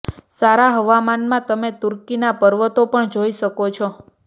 સારા હવામાનમાં તમે તૂર્કીના પર્વતો પણ જોઈ શકો છો